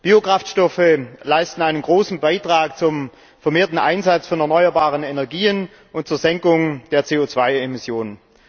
Biokraftstoffe leisten einen großen Beitrag zum vermehrten Einsatz von erneuerbaren Energien und zur Senkung der CO2 Emissionen.